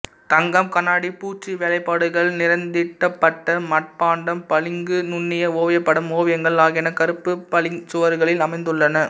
தங்கம் கண்ணாடிப் பூச்சு வேலைப்பாடுகள் நிறந்தீட்டப்பட்ட மட்பாண்டம் பளிங்கு நுண்ணிய ஓவியப்படம் ஓவியங்கள் ஆகியன கருப்பு பளிங்குச் சுவர்களில் அமைந்துள்ளன